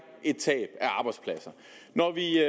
et tab af arbejdspladser når vi